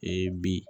Ee bi